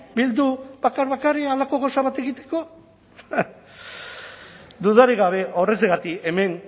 bildu bakar bakarrik halako gauza bat egiteko dudarik gabe horrexegatik hemen